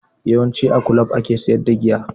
Yawanci a kulob ake sayar da giya